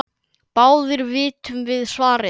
Báðir vitum við svarið